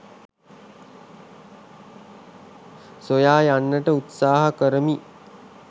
සොයා යන්නට උත්සාහ කරමි